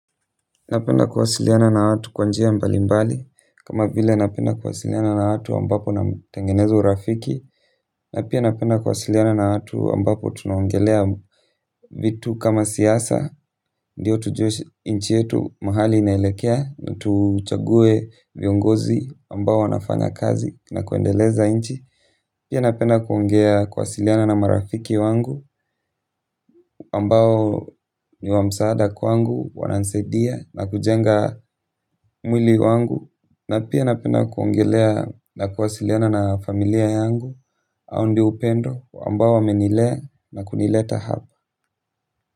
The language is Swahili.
Napenda kuwasiliana na watu kwa njia mbalimbali kama vile napenda kuwasiliana na watu ambapo na tengeneza urafiki na pia napenda kuwasiliana na watu ambapo tunaongelea vitu kama siasa ndio tujue nchi yetu mahali inailekea na tuchague viongozi ambao wanafanya kazi na kuendeleza nchi pia napenda kuongea kuwasiliana na marafiki wangu ambao ni wa msaada kwangu wanani saidia na kujenga mwili wangu na pia napenda kuongelea na kuwasiliana na familia yangu au ndio upendo ambao wamenilea na kunileta hapa.